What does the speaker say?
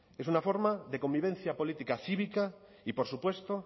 es una forma de convivencia política cívica y por supuesto